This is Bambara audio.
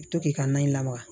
I bɛ to k'i ka na in lamaga